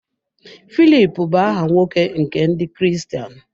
Filip bụ aha nwoke nke Ndị Kristian.